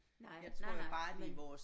Nej nej nej men